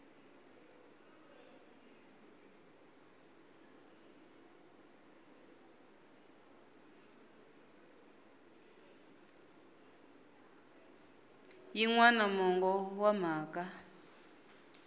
yin wana mongo wa mhaka